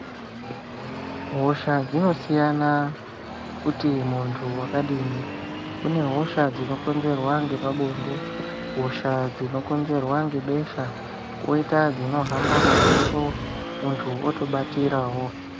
Hosha dzinosiyana kuti muntu wakadini kune hosha dzinokonzerwa nepabonde, hosha dzinokonzerwa nebesha koita dzinohamba mumbepo muntu otobatirawo.